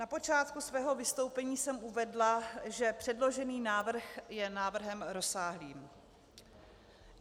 Na počátku svého vystoupení jsem uvedla, že předložený návrh je návrhem rozsáhlým.